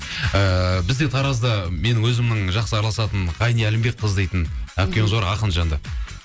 ыыы бізде таразда менің өзімнің жақсы араласатын ғайни әлімбекқызы дейтін әпкеміз бар ақын жанды